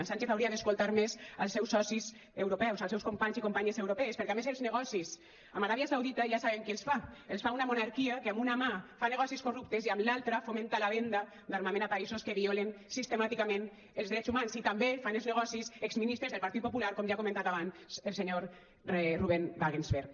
sánchez hauria d’escoltar més els seus socis europeus els seus companys i companyes europees perquè a més els negocis amb aràbia saudita ja sabem qui els fa els fa una monarquia que amb una mà fa negocis corruptes i amb l’altra fomenta la venda d’armament a països que violen sistemàticament els drets humans i també fan els negocis exministres del partit popular com ja ha comentat abans el senyor ruben wagensberg